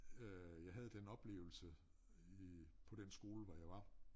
Øh jeg havde den oplevelse øh på den skole hvor jeg var